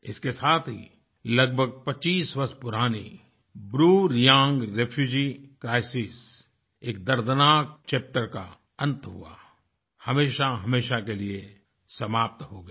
इसके साथ ही लगभग 25 वर्ष पुरानी ब्रूरियांग ब्रूरेआंग्रेफ्यूजी crisisएक दर्दनाक चैप्टर का अंत हुआ हमेशा हमेशा के लिए समाप्त हो गयी